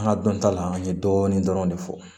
An ka dɔn ta la an ye dɔɔnin dɔrɔn de fɔ